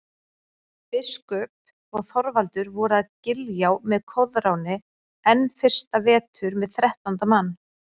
Biskup og Þorvaldur voru að Giljá með Koðráni enn fyrsta vetur með þrettánda mann.